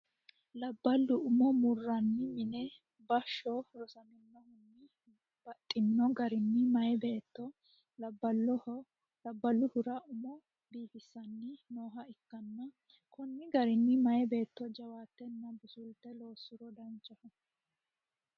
labballu umo murranni mine bashsho rosaminohunni baxxino garinni meyaa beetto labbaahura umo biifissanni nooha ikkanna, konni garinni meyaa beetto jawaattenna busulte loossuro danchaho.